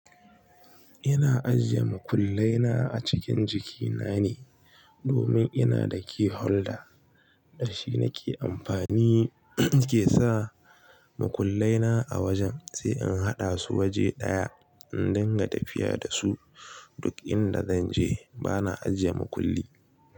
Ina ajiye mukullai na acikin jiki nane domin ina da key holder da shi nake amfani nike sa makullai na a wajen sai in haɗa su waje ɗaya in dinga tafiya da su duk inda zanje bana ajiye makulli.